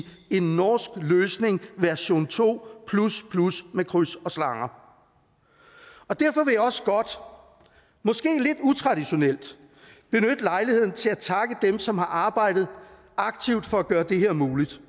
en norsk løsning version to plus plus med kryds og slange og derfor vil jeg også godt måske lidt utraditionelt benytte lejligheden til at takke dem som har arbejdet aktivt for at gøre det her muligt